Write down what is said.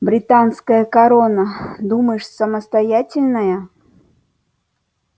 британская корона думаешь самостоятельная